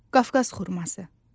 Qafqaz xurması.